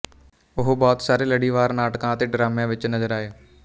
ਉਹ ਬਹੁਤ ਸਾਰੇ ਲੜੀਵਾਰਨਾਟਕਾਂ ਅਤੇ ਡਰਾਮਿਆਂ ਵਿੱਚ ਨਜਰ ਆਏ